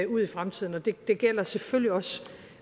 ud i fremtiden det gælder selvfølgelig også